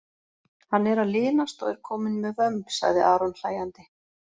Hann er að linast og er kominn með vömb, sagði Aron hlægjandi.